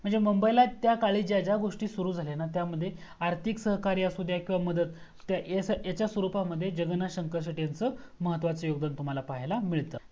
म्हणजे मुंबईला त्या काळी ज्या ज्या गोस्टी सुरू झाल्या ना त्या मध्ये आर्थिक सहकार्य असुदया अथवा मदत ह्याचा स्वरुपमध्ये जगन्नाथ सेठे यांचं महत्त्वाच योगदान तुम्हाला पाहायाला भेटतं